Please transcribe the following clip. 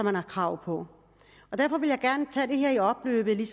har krav på derfor vil jeg gerne tage det her i opløbet